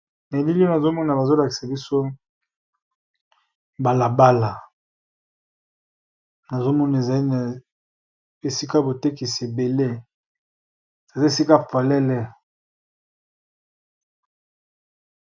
Na elili oyo nazo mona bazo lakisa biso bala bala, nazo mona ezali na esika botekisi ebele eza esika polele.